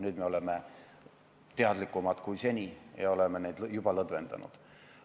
Nüüd me oleme teadlikumad kui seni ja oleme piiranguid juba lõdvendanud.